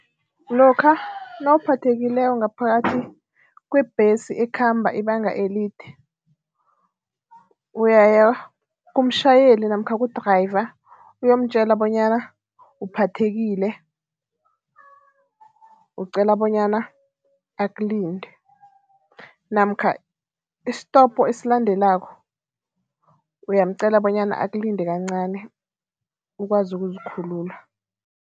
Lokha nawuphathekileko ngaphakathi kwebhesi ekhamba ibanga elide, uyaya kumtjhayeli namkha ku-driver uyomtjela bonyana uphathethekile ucela bonyana akulindele namkha isitopo esilandelako, uyamcela bonyana akulinde kancani ukwazi ukuzikhulula.